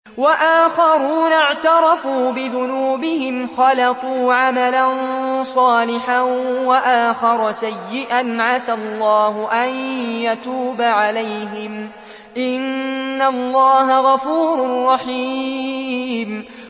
وَآخَرُونَ اعْتَرَفُوا بِذُنُوبِهِمْ خَلَطُوا عَمَلًا صَالِحًا وَآخَرَ سَيِّئًا عَسَى اللَّهُ أَن يَتُوبَ عَلَيْهِمْ ۚ إِنَّ اللَّهَ غَفُورٌ رَّحِيمٌ